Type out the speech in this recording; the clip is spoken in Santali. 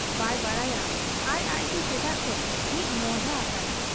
ᱵᱟᱭ ᱵᱟᱰᱟᱭᱟ ᱟᱡ ᱟᱡᱛᱮ ᱪᱮᱫᱟᱜ ᱪᱚ ᱢᱤᱫ ᱢᱚᱸᱦᱰᱟ ᱟᱠᱟᱱᱟ ᱾